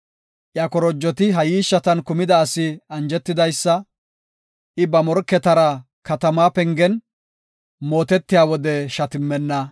Iya korojoti ha yiishshatan kumida asi anjetidaysa; I ba morketara katama pengen, mootetiya wode shatimmenna.